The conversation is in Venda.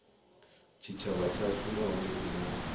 tshitshavha tshashu nahone i na